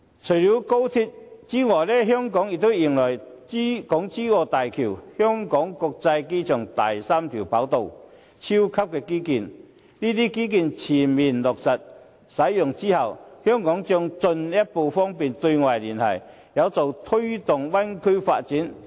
除了高鐵，香港也將迎來港珠澳大橋、香港國際機場第三跑道等超級基建，這些基建全面落實使用之後，香港將進一步方便對外聯繫，有助推動大灣區發展。